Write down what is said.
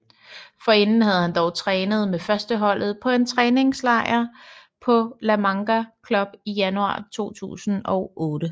Forinden havde han dog trænet med førsteholdet på en træningslejr på La Manga Club i januar 2008